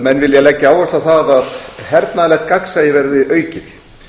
menn vilja leggja áherslu á það að hernaðarlegt gagnsæi geri aukið